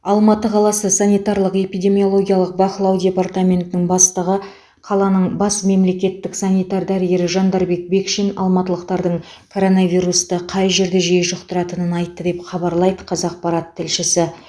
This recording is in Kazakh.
алматы қаласы санитарлық эпидемиологиялық бақылау департаментінің бастығы қаланың бас мемлекеттік санитар дәрігері жандарбек бекшин алматылықтардың коронавирусты қай жерде жиі жұқтыратынын айтты деп хабарлайды қазақпарат тілшісі